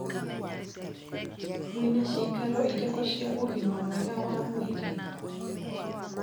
Mwĩna ciikaro irĩkũ cia ũgima mwega wa mwĩrĩ?